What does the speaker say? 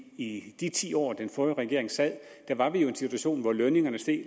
at i de ti år den forrige regering sad var vi jo i en situation hvor lønningerne steg